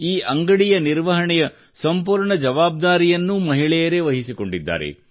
ಈ ಅಂಗಡಿಗಳ ನಿರ್ವಹಣೆಯ ಸಂಪೂರ್ಣ ಜವಾಬ್ದಾರಿಯನ್ನೂ ಮಹಿಳೆಯರೇ ವಹಿಸಿಕೊಂಡಿದ್ದಾರೆ